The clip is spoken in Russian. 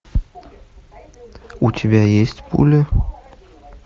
у тебя есть пуля